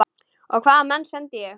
Og hvaða menn sendi ég?